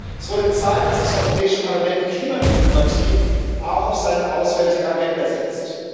Es wurde Zeit, dass das Europäische Parlament Klimadiplomatie auch auf seine auswärtige Agenda setzt.